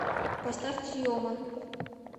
поставь тиома